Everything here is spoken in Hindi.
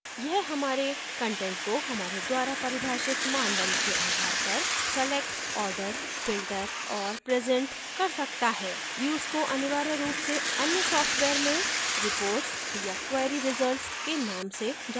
यह हमारे कंटेंट को हमारे द्वारा परिभाषित मानदंड के आधार पर select order filter और present कर सकता है views को अनिवार्य रूप से अन्य सॉफ्टवेयर में reports या query results के नाम से जाना जाता है